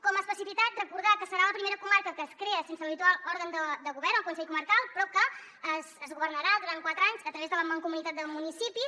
com a especificitat recordar que serà la primera comarca que es crea sense l’habitual òrgan de govern el consell comarcal però que es governarà durant quatre anys a través de la mancomunitat de municipis